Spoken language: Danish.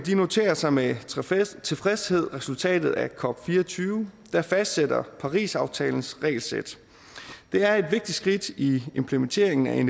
noterer sig med tilfredshed resultatet af cop24 der fastsætter parisaftalens regelsæt det er et vigtigt skridt i implementeringen af